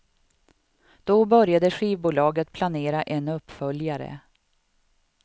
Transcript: Då började skivbolaget planera en uppföljare.